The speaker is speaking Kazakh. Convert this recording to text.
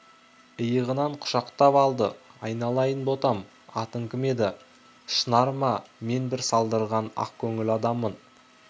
иығынан құшақтап алды айналайын ботам атың кім еді шынар ма мен бір салдырлаған ақкөңіл адаммын